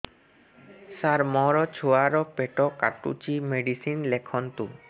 ସାର ମୋର ଛୁଆ ର ପେଟ କାଟୁଚି ମେଡିସିନ ଲେଖନ୍ତୁ